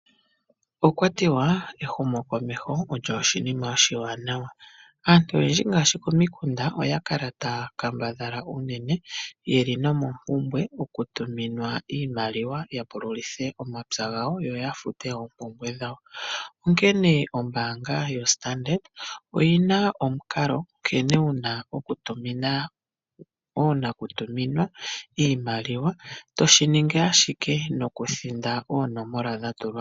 Okwatiwa ehumokomeho olyo oshinima oshi wanawa. Aantu oyendji ngaashi komikunda oya kala ta ya kambadhala unene ye li nomompumbwe yo ku tuminwa iimaliwa yapululithe omapya gawo yo yafute oompumbwe dha wo. Onkene ombaanga yo Standard oyi na omukalo nkene wuna okutumina oonakutuminwa iimaliwa to shiningi ashike no kuthinda oonomola dha tulwapo.